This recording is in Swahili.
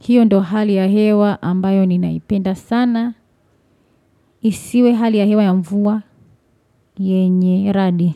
Hiyo ndo hali ya hewa ambayo ninaipenda sana. Isiwe hali ya hewa ya mvua. Yenye, radi.